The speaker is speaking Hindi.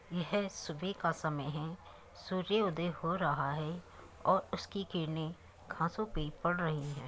यह सुबह का समय है। सूर्य उदय हो रहा है और उसकी किरणें घासों पे पड़ रही हैं।